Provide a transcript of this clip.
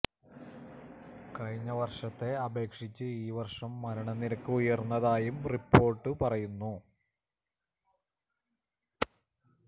കഴിഞ്ഞ വര്ഷത്തെ അപേക്ഷിച്ച് ഈ വര്ഷം മരണ നിരക്ക് ഉയര്ന്നതായും റിപോര്ട്ട് പറയുന്നു